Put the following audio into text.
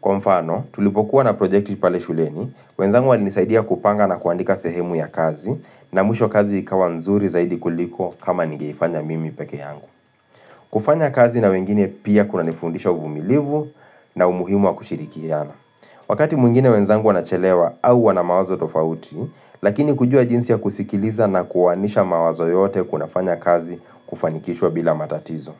Kwa mfano, tulipokuwa na projekti pale shuleni, wenzangu wali nisaidia kupanga na kuandika sehemu ya kazi, na mwisho kazi ikawa nzuri zaidi kuliko kama ningeifanya mimi peke yangu. Kufanya kazi na wengine pia kunanifundisha uvumilivu na umuhimu wa kushirikiana Wakati mwingine wenzangu wanachelewa au wana mawazo tofauti Lakini kujua jinsi ya kusikiliza na kuoanisha mawazo yote kuna fanya kazi kufanikishwa bila matatizo.